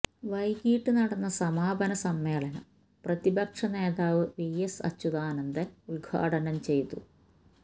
വൈകിട്ട് നടന്ന സമാപന സമ്മേളനം പ്രതിപക്ഷനേതാവ് വിഎസ് അച്യുതാനന്ദന് ഉദ്ഘാടനം ചെയ്തു